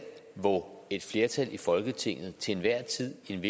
hvor et flertal i folketinget til enhver tid i en